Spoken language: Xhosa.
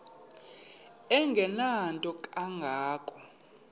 engenanto kanga ko